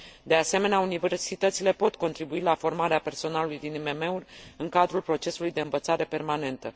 De asemenea, universitățile pot contribui la formarea personalului din IMM uri, în cadrul procesului de învățare permanentă.